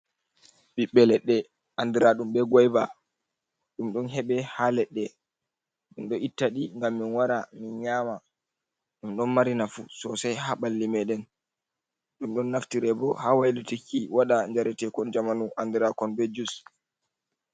Ɓiɓɓe leɗɗe andiraɗum be goyva, ɗum ɗon heɓe ha ladde, min ɗo ittaɗi gam min wara min nyama ɗum, ɗon mari nafu sosai ha ɓalli meɗen, ɗum ɗon naftire bo ha wailutiki waɗa jaretekon jamanu andirakon be jus.